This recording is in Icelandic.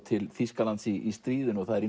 til Þýskalands í stríðinu það er